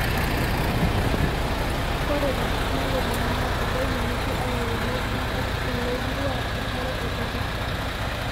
ore te nkop nalulung'a naa, ebaiki nusu oolairemok lenkop loolau enkare ekutosha